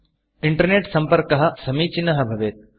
internet internet सम्पर्कः समीचीनः भवेत्